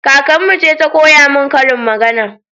Kakarmu ce ta koya min karin magana